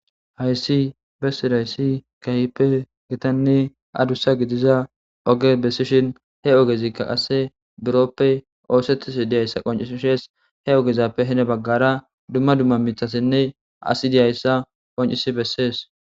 hayssi bessi dayssi kayipe gitanne adussa gidiza oge besishin he ogezikka qasse burooppe oosettis diyayssa qoncishees he ogezappe hene baggara dumma dumma mithasenne asi diyayssa qoncisi bessees